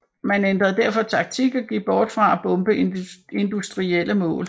Man ændrede derfor taktik og gik bort fra at bombe industrielle mål